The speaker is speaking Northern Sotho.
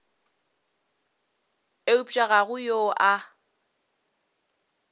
eupša ga go yo a